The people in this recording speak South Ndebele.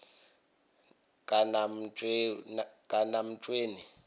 kanamtshweni